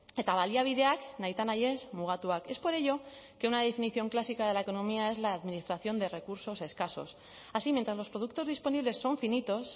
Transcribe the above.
eta baliabideak nahita nahi ez mugatuak es por ello que una definición clásica de la economía es la administración de recursos escasos así mientras los productos disponibles son finitos